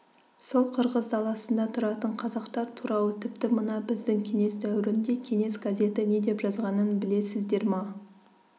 сол қырғыз даласында тұратын қазақтар туралы тіпті мына біздің кеңес дәуірінде кеңес газеті не деп жазғанын білесіздер ма